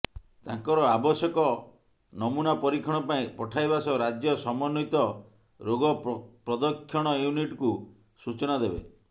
ତାଙ୍କର ଆବଶ୍ୟକ ନମୁନା ପରୀକ୍ଷଣ ପାଇଁ ପଠାଇବା ସହ ରାଜ୍ୟ ସମନ୍ବିତ ରୋଗ ପ୍ରଦକ୍ଷଣ ୟୁନିଟ୍କୁ ସୂଚନା ଦେବେ